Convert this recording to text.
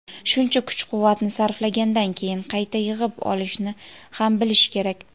Shuncha kuch-quvvatni sarflagandan keyin qayta yig‘ib olishni ham bilish kerak.